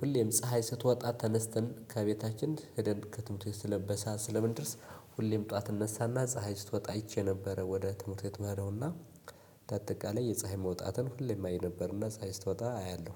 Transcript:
ሁሌም ፀሀይ ስትወጣ ተነስተን ከቤታችን ሄደን ከትምህርት ቤት በሰአት ስለምንድርስ። ሁሌም ጠዋት እነሳና ፀሀይ ስትወጣ አይቼ ነበረ ወደ ትምህርት ይምሄደው። እና እንዳጠቃላይ የፀሀይ መውጣትን ሁሌም አይን ነበርና ፀሀይ ስትወጣ አያለሁ።